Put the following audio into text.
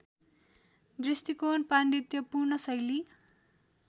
दृष्टिकोण पाण्डित्यपूर्ण शैली